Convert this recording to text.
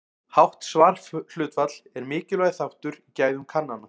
Hátt svarhlutfall er mikilvægur þáttur í gæðum kannana.